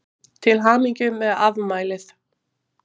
Til hamingju með afmælið.